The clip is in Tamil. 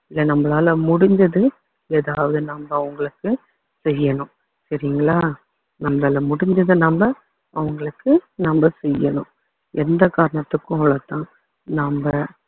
இல்ல நம்மளால முடிஞ்சது ஏதாவது நம்ம அவங்களுக்கு செய்யணும் சரிங்களா நம்மளால முடிஞ்சதை நம்ம அவங்களுக்கு நம்ம செய்யணும் எந்த காரணத்துக்கும் நம்ம